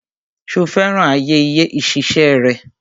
Ṣo fẹ́ràn àyè ìṣiṣẹ́ rẹ?